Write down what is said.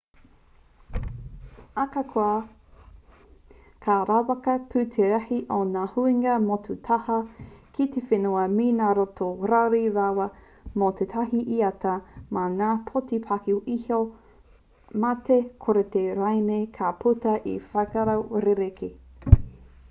ahakoa ka rawaka pū te rahi o ngā huinga motu taha ki te whenua me ngā roto rawhi rawa mō tētahi iata mā ngā poti paku iho mā te kōreti rānei ka puta he wheako rerekē